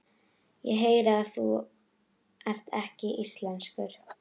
Ég heyri að þú ert ekki íslenskur.